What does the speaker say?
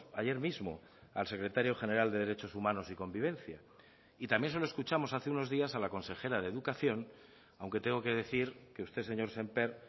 ayer mismo al secretario general de derechos humanos y convivencia y también se lo escuchamos hace unos días a la consejera de educación aunque tengo que decir que usted señor sémper